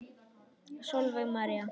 Sólveig María.